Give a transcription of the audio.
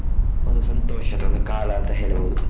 ಒಂದು ಸಂತೋಷದ ಒಂದು ಕಾಲ ಅಂತ ಹೇಳಬಹುದು.